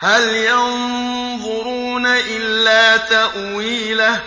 هَلْ يَنظُرُونَ إِلَّا تَأْوِيلَهُ ۚ